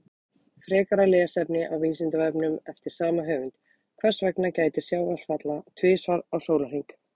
Frekara lesefni á Vísindavefnum eftir sama höfund: Hvers vegna gætir sjávarfalla tvisvar á sólarhring?